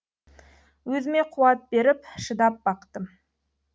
өзіме қуат беріп шыдап бақтым